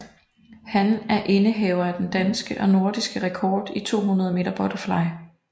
Han er indehaver af den danske og nordiske rekord i 200 meter butterfly